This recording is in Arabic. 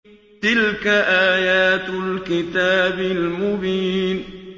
تِلْكَ آيَاتُ الْكِتَابِ الْمُبِينِ